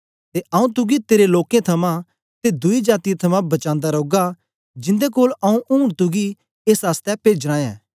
ते आंऊँ तुगी तेरे लोकें थमां ते दुई जातीयें थमां बचांदा रौगा जिंदे कोल आंऊँ ऊन तुगी एस आसतै पेजना ऐ